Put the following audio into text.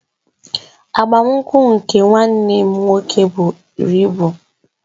Agbamakwụkwọ nke nwanne m nwoke buru ibu